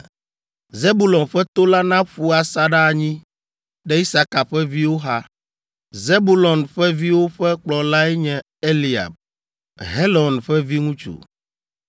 Zebulon ƒe to la naƒu asaɖa anyi ɖe Isaka ƒe viwo xa. Zebulon ƒe viwo ƒe kplɔlae nye Eliab, Helon ƒe viŋutsu,